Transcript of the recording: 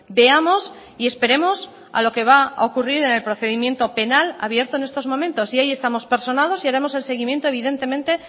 veamos y esperemos a lo que va a ocurrir en el procedimiento penal abierto en estos momentos y ahí estamos personados y haremos el seguimiento evidentemente